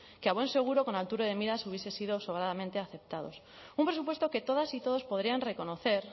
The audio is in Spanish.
que a buen seguro con altura de miras hubiesen sido sobradamente aceptados un presupuesto que todas y todos podrían reconocer